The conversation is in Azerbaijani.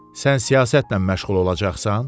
Sən siyasətlə məşğul olacaqsan?